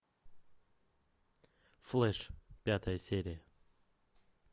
флэш пятая серия